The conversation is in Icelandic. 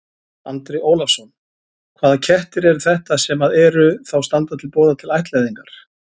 Andri Ólafsson: Hvaða kettir eru þetta sem að eru, þá standa til boða til ættleiðingar?